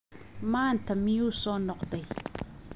Maanta miyuu soo noqday?